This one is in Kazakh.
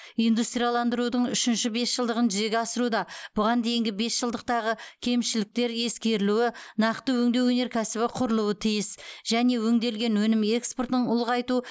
индустрияландырудың үшінші бесжылдығын жүзеге асыруда бұған дейінгі бесжылдықтағы кемшіліктер ескерілуі нақты өңдеу өнеркәсібі құрылуы тиіс және өңделген өнім экспортын ұлғайту